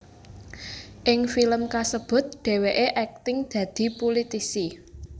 Ing film kasebut dhèwèké akting dadi pulitisi